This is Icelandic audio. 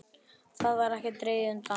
Þar var ekkert dregið undan.